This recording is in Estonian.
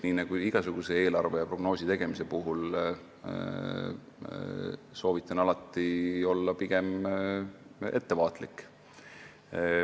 Nii nagu igasuguse eelarve ja prognoosi tegemise puhul soovitan alati olla pigem ettevaatlik.